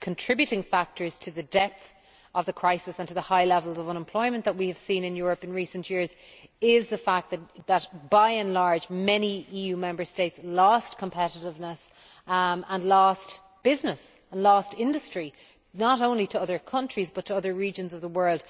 contributing factors to the depth of the crisis and to the high levels of unemployment that we have seen in Europe in recent years is the fact that, by and large, many EU Member States lost competitiveness, lost business and lost industry, not only to other countries but to other regions of the world.